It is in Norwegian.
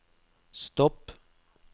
stopp